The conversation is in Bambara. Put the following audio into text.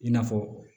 I n'a fɔ